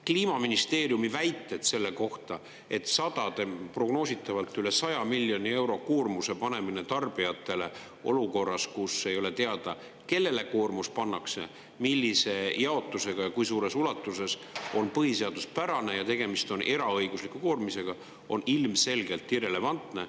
Kliimaministeeriumi väited selle kohta, et sadade, prognoositavalt üle 100 miljoni euro koormuse panemine tarbijatele olukorras, kus ei ole teada, kellele koormus pannakse, millise jaotusega ja kui suures ulatuses, on põhiseaduspärane ja tegemist on eraõigusliku koormisega, on ilmselgelt irrelevantne.